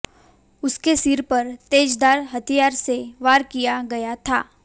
उसके सिर पर तेजधार हथियार से वार किया गया था